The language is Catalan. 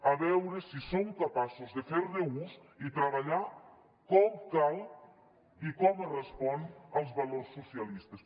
a veure si som capaços de fer ne ús i treballar com cal i com correspon als valors socialistes